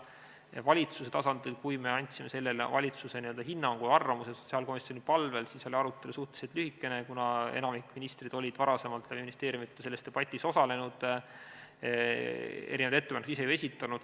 Valitsuse tasandil, kui me andsime selle kohta valitsuse hinnangu ja arvamuse sotsiaalkomisjoni palvel, oli arutelu suhteliselt lühikene, kuna enamik ministreid oli varem ministeeriumides selles debatis osalenud, ettepanekuid ise esitanud.